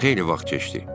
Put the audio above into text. Xeyli vaxt keçdi.